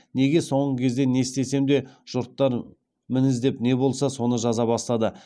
неге соңғы кезде не істесем де жұрттар мін іздеп не болса соны жаза бастады